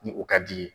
Ni o ka di ye